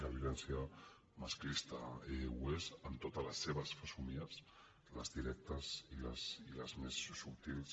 la violència masclista ho és en totes les seves fesomies les directes i les més subtils